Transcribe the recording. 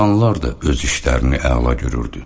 İnsanlar da öz işlərini əla görürdü.